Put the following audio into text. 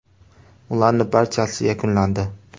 Ularning barchasi yakunlandi.